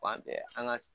Fan bɛɛ an ga